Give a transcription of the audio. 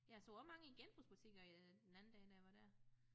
Jeg så også mange i genbrugsbutikker øh den anden dag da jeg var dér